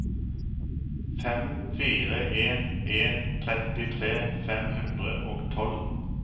fem fire en en trettitre fem hundre og tolv